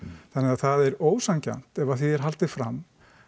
þannig að það er ósanngjarnt ef því er haldið fram